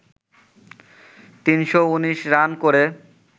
৩১৯ run করে